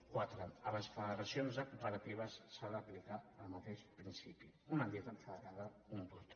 quatre a les federacions de cooperatives s’ha d’aplicar el mateix principi una entitat federada un vot